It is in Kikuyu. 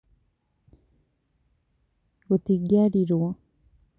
Gũtingiarĩrwo